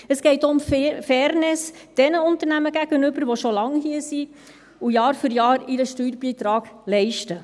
Es geht auch um Fairness denjenigen Unternehmen gegenüber, die schon lange hier sind und Jahr für Jahr ihren Steuerbeitrag leisten.